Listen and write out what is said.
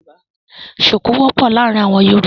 Ṣuku wọ̀pọ́ làarin awọn Yorúbà.